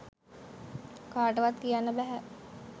කාටවත් කියන්න බැහැ.